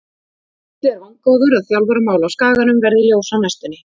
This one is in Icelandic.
Gísli er vongóður að þjálfaramál á Skaganum verði ljós á næstunni.